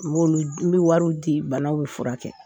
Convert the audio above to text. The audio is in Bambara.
n bɛ wariw di banaw bɛ furakɛ kɛ.